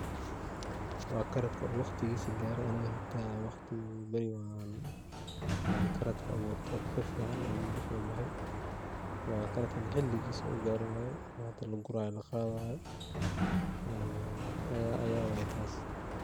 Waa karotka oo waqtigisa gare aniga hada waqti beri ban karatka aburte, si fican ayu igu so baxay waa karatka hadii xiligisa u garay waye oo hada laguraya oo laqadayaa ayaa waye taas.